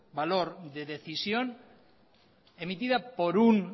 valor de decisión emitida por un